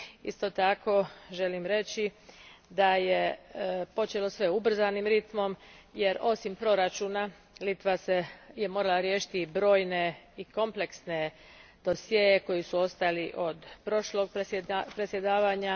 Isto tako želim reći da je počelo sve ubrzanim ritmom jer osim proračuna Litva je morala riješiti i brojne i kompleksne dosjee koji su ostali od prošlog predsjedavanja.